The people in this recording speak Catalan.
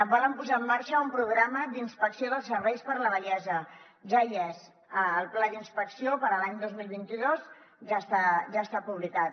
volen posar en marxa un programa d’inspecció dels serveis per a la vellesa ja hi és el pla d’inspecció per a l’any dos mil vint dos ja està publicat